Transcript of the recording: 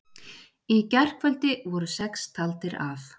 Í gærkvöldi voru sex taldir af